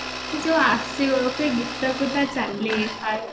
ସିଏ ଯୋଉ ଆସିବା ସେଇ ଗୀତକୁ ତା ଯୋଉ ଚାଲି ହାଏ